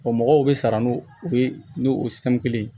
mɔgɔw bɛ sara n'u ye u bɛ n'u sanu kelen